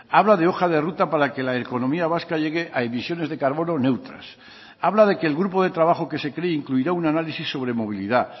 habla de hoja de ruta para que la economía vasca llegue a emisiones de carbono neutras habla de que el grupo de trabajo que se cree incluirá un análisis sobre movilidad